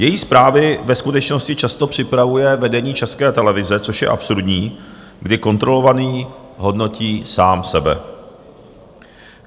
Její zprávy ve skutečnosti často připravuje vedení České televize, což je absurdní, kdy kontrolovaný hodnotí sám sebe.